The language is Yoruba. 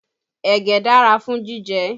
Ẹ̀gẹ́ dára fún jíjẹ